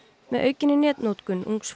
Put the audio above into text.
með aukinni netnotkun ungs